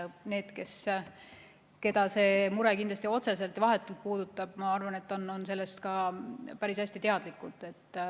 Need, keda see mure otseselt ja vahetult puudutab, on, ma arvan, sellest päris hästi teadlikud.